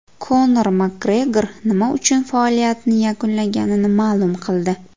Konor Makgregor nima uchun faoliyatini yakunlaganini ma’lum qildi.